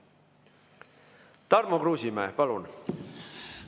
Tarmo Kruusimäe, palun!